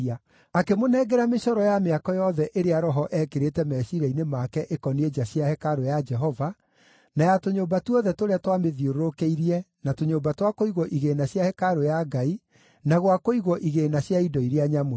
Akĩmũnengera mĩcoro ya mĩako yothe ĩrĩa Roho eekĩrĩte meciiria-inĩ make ĩkoniĩ nja cia hekarũ ya Jehova, na ya tũnyũmba tuothe tũrĩa twamĩthiũrũrũkĩirie na tũnyũmba twa kũigwo igĩĩna cia hekarũ ya Ngai, na gwa kũigwo igĩĩna cia indo iria nyamũre.